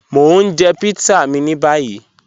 Mọ̀ ń jẹ̀ pítsà mí ní báyì